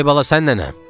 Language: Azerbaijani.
Ay bala, sən nənəm?